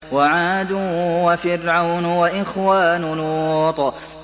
وَعَادٌ وَفِرْعَوْنُ وَإِخْوَانُ لُوطٍ